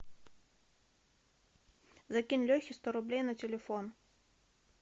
закинь лехе сто рублей на телефон